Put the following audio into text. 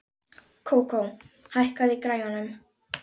Kókó, hækkaðu í græjunum.